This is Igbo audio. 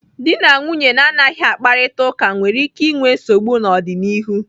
Dị na nwunye na-anaghị akparita ụka nwere ike inwe nsogbu n'ọdịnihu.